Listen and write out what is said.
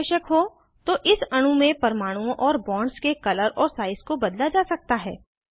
यदि आवश्यक हो तो इस अणु में परमाणुओं और बॉन्ड्स के कलर और साइज को बदला जा सकता है